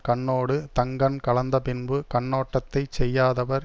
கண்ணோடு தங்கண் கலந்த பின்பு கண்ணோட்டத்தைச் செய்யாதவர்